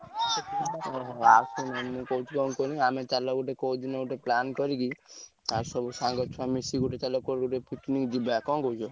ଓହୋ। ମୁଁ କହିଛି କଣ କୁହନି ଆମେ ଚାଲ ଗୋଟେ କୋଉଦିନ ଗୋଟେ plan କରିକି ଆଉ ସବୁ ସାଙ୍ଗ ଛୁଆ ମିଶିକି ସବୁ କୁଆଡେ ଗୋଟେ ଚାଲ picnic ଯିବା କଣ କହୁଛ?